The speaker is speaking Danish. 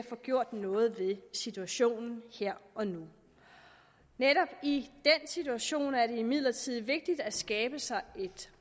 få gjort noget ved situationen her og nu netop i den situation er det imidlertid vigtigt at skabe sig et